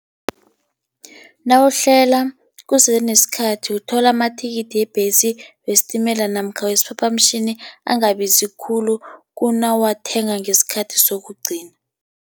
Nawuhlela kusese nesikhathi uthola amathikithi webhesi, wesitimela, namkha wesiphaphamtjhini angabizi khulu kunawuwathenga ngesikhathi sokugcina.